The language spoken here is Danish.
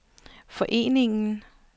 foreningen